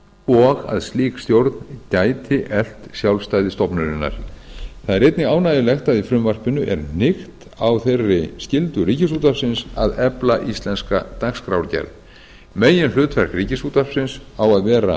og að slík stjórn gæti eflt sjálfstæði stofnunarinnar það er einnig ánægjulegt að í frumvarpinu er hnykkt á þeirri skyldu ríkisútvarpsins að efla íslenska dagskrárgerð meginhlutverk ríkisútvarpsins á að vera